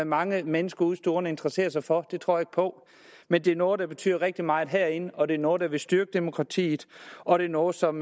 mange mennesker ude i stuerne interesserer sig for det tror jeg på men det er noget der betyder rigtig meget herinde og det er noget der vil styrke demokratiet og det er noget som